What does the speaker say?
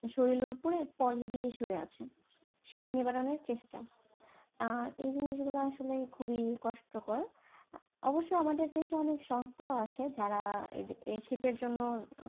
শরীরের উপর পলি দিয়ে শুয়ে আছে, শীত নিবারণের চেষ্টা, আহ এই জিনিস গুলো আসলে খুবই কষ্টকর, অবশ্য আমাদের দেশে অনেক সংস্থাও আছে, যারা এই শীতের জন্য